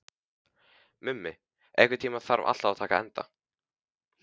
Mummi, einhvern tímann þarf allt að taka enda.